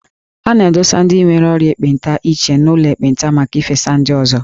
A na-adụsa ndị nwere ọrịa ekpenta iche n'ụlọ ekpenta maka ifesa ndị ọzọ.